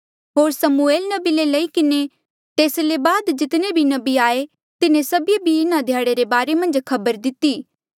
होर समूएल नबी ले लई किन्हें तेस ले बाद जितने भी नबी आये तिन्हें सभिऐ भी इन्हा ध्याड़े रे बारे मन्झ खबर दिती